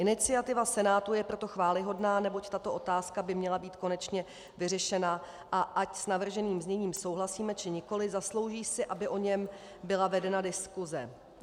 Iniciativa Senátu je proto chvályhodná, neboť tato otázka by měla být konečně vyřešena, a ať s navrženým zněním souhlasíme, či nikoliv, zaslouží si, aby o něm byla vedena diskuse.